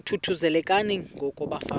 thuthuzelekani ngoko bafazana